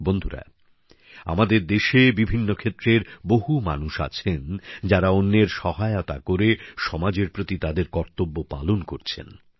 বন্ধুরা আমাদের দেশে বিভিন্ন ক্ষেত্রের বহু মানুষ আছেন যারা অন্যের সহায়তা করে সমাজের প্রতি তাদের কর্তব্য পালন করছেন